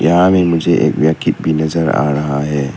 यहां में मुझे एक भी नजर आ रहा है।